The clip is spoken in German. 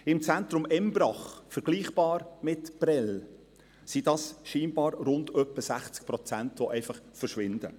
Im Zentrum Embrach – vergleichbar mit Prêles – sind es scheinbar rund etwa 60 Prozent, die einfach verschwinden.